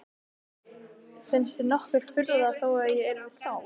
Finnst þér nokkur furða þó að ég yrði sár?